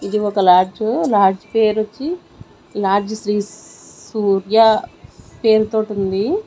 ఇది ఒక lodge lodge పేరొచ్చి లాడ్జ్ శ్రీ సూర్య పేరుతోటుంది ఉంది.